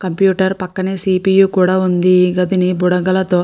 Computer పక్కనే CPU కూడా ఉంది. ఈ గదిని బుడగలతో --